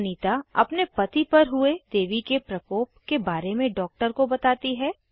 अनीता अपने पति पर हुए देवी के प्रकोप के बारे में डॉक्टर को बताती है